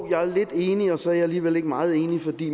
jeg er lidt enig og så er jeg alligevel ikke meget enig